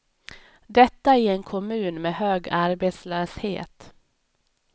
Detta i en kommun med hög arbetslöshet.